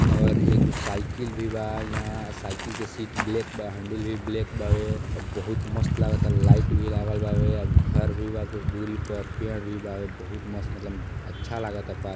और एगो साइकल भी बा इहां साइकल के सीट ब्लैक बा। हंडाल भी ब्लैक बा वे और बहुत मस्त लागता लाइट बी लागल बावे और घर भी बा कुछ दूरी पे पेड़ भी बा बहुत मस्त मतलब अच्छा लागता पार्क --